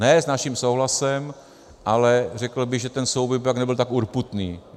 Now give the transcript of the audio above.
Ne s naším souhlasem, ale řekl bych, že ten souboj by pak nebyl tak urputný.